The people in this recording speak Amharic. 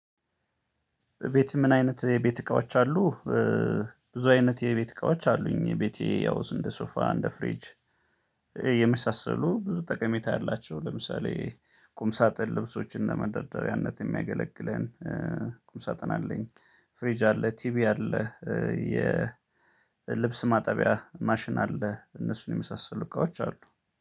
ቤት ምን አይነት የቤት እቃዎች አሉ? ብዙ አይነት የቤት እቃዎች አሉኝ ቤቴ ያው እንደ ሶፋ፣ እንደ ፍሪጅ፣ የመሳሰሉ ብዙ ጠቀሜታ ያላቸው ለምሳሌ ቁም ሳጥን ልብሶችን ለመደርደሪያነት የሚያገለግለን ቁም ሳጥን አለኝ፣ ፍሬጅ አለ፣ ቲቪ አለ፣ የ የልብስ ማጠቢያ ማሽን አለ እነሱን የመሳሰሉ ልካዎች አሉ።